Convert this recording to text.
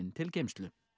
til geymslu